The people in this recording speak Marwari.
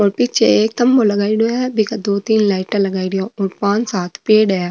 और पीछे एक तम्बो लगायेडॉ है बि के दो तीन लाइटाँ लगायेडी है पांच सात पेड़ हैं।